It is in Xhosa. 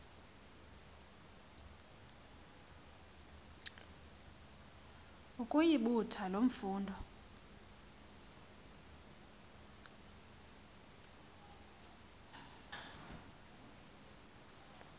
ukuyibutha loo mfundo